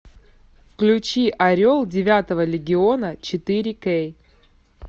включи орел девятого легиона четыре кей